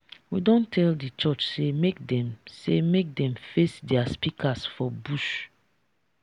we don tell di church sey make dem sey make dem face their speakers for bush.